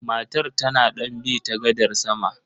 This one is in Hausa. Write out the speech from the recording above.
Matar tana don bi ta gadar sama.